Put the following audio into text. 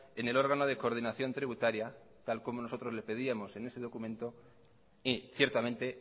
en el órgano de coordinación tributaria tal como nosotros le pedíamos en ese documento y ciertamente